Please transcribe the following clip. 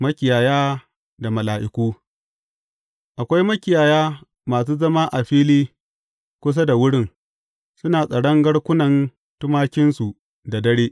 Makiyaya da Mala’iku Akwai makiyaya masu zama a fili kusa da wurin, suna tsaron garkunan tumakinsu da dare.